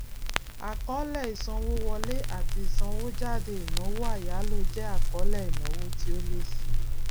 àkọọlẹ ìsanwówọlé ati ìsanwójáde ìnáwó àyáló jẹ àkọọlẹ ìnáwó tí ó lé síi